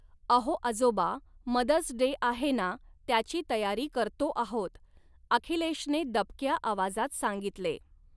अहो आजोबा, mother's day आहे नां त्याची तयारी करतो आहोत, आखिलेषने दबक्या आवाजात सांगितले.